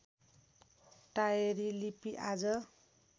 टाएरी लिपि आज